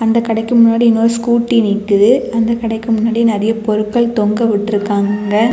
இந்த கடைக்கு முன்னாடி இன்னொரு ஸ்கூட்டி நிக்குது. அந்த கடைக்கு முன்னாடி நறைய பொருட்கள் தொங்கவிட்டுருக்காங்க.